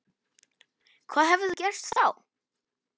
Hvað hefði gerst þá?